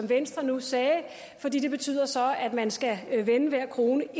venstre nu sagde for det betyder så at man skal vende hver en krone